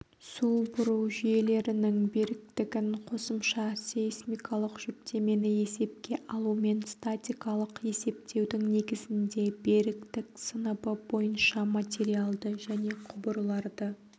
су бұру жүйелерінің беріктігін қосымша сейсмикалық жүктемені есепке алумен статикалық есептеудің негізінде беріктік сыныбы бойынша материалды және құбырларды